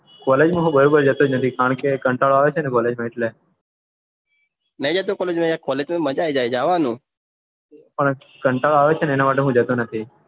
college માં હું બરોબર જતો નથી કારણ કે મને પન કંટાળો આવેછે કોલેજ માં મજા આવે જવાનું પન કટલો આવે છે ને એટલે હું જતો નથી